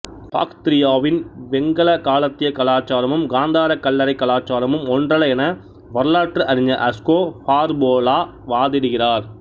பாக்திரியாவின் வெங்கல காலத்திய கலாச்சாரமும் காந்தாரக் கல்லறை கலாச்சாரமும் ஒன்றல்ல என வரலாற்று அறிஞர் அஸ்கோ பார்போலா வாதிடுகிறார்